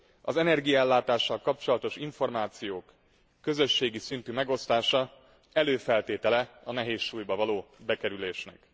Az energiaellátással kapcsolatos információk közösségi szintű megosztása előfeltétele a nehézsúlyba való bekerülésnek.